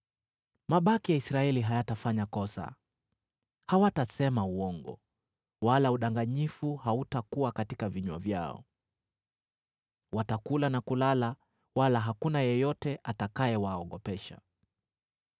Mabaki ya Israeli hayatafanya kosa; hawatasema uongo, wala udanganyifu hautakuwa katika vinywa vyao. Watakula na kulala wala hakuna yeyote atakayewaogopesha.”